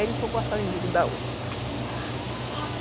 Aí ele foi cortar o umbigo da outra.